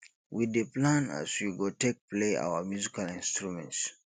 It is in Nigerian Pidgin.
we dey plan as we go take play our musical instruments